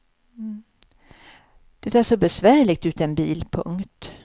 Det är så besvärligt utan bil. punkt